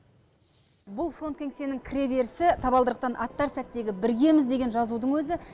бұл фронт кеңсенің кіреберісі табалдырықтан аттар сәттегі біргеміз деген жазудың өзі